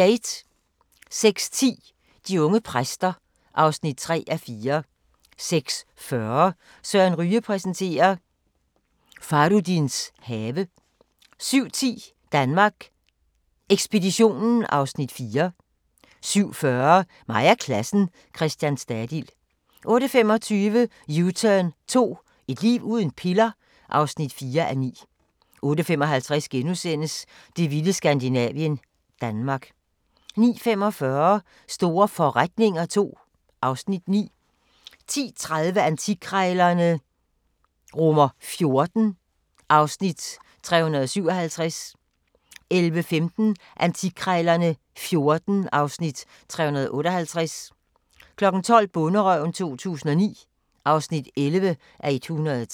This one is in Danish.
06:10: De unge præster (3:4) 06:40: Søren Ryge præsenterer: Fahrudins have 07:10: Danmark Ekspeditionen (Afs. 4) 07:40: Mig og klassen - Christian Stadil 08:25: U-turn 2 – et liv uden piller? (4:9) 08:55: Det vilde Skandinavien - Danmark * 09:45: Store forretninger II (Afs. 9) 10:30: Antikkrejlerne XIV (Afs. 357) 11:15: Antikkrejlerne XIV (Afs. 358) 12:00: Bonderøven 2009 (11:103)